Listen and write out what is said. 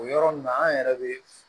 O yɔrɔ nin na an yɛrɛ bɛ